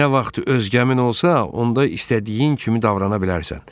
Nə vaxt öz qəmin olsa, onda istədiyin kimi davrana bilərsən.